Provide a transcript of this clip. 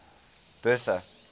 bertha